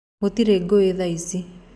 Gũtirĩ gũũ thaici.